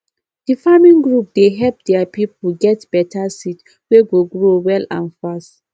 the farming group dey help their people get better seed wey go grow well and fast